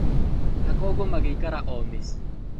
Na koguo magĩikaraga o mĩciĩ